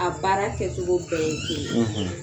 A baara kɛcogo bɛɛ ye kelen ye